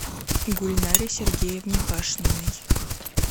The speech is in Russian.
гульнаре сергеевне пашниной